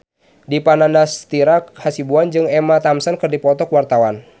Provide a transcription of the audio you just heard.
Dipa Nandastyra Hasibuan jeung Emma Thompson keur dipoto ku wartawan